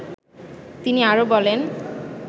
তিনি আরো বলেন